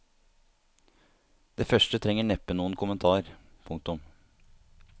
Det første trenger neppe noen kommentar. punktum